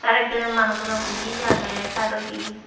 aaro ekjone manus ole buji aage saidodi.